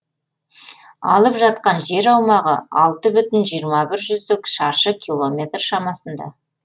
алып жатқан жер аумағы алты бүтін жиырма бір жүздік шаршы километр шамасында